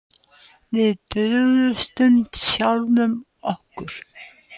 Við brugðumst sjálfum okkur